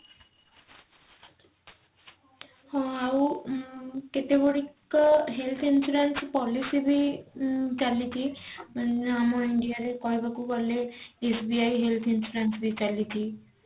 ହଁ ଆଉ ଉଁ କେତେଗୁଡିକ health insurance policy ବି ଚାଲିଛି ମାନେ ଆମ india ରେ କହିବାକୁ ଗଲେ SBI health insurance ବି ଚାଲିଛି